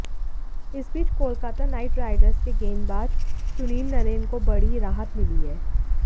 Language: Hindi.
इसी बीच कोलकाता नाईट राइडर्स के गेंदबाज सुनील नरेन को बड़ी राहत मिली है